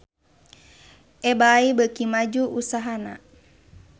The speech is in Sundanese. Ebay beuki maju usahana